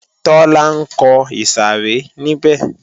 Tọ́lá ńkọ ìsàrẹ́ níbẹ̀